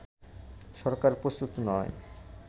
সরকার প্রস্তুত নয়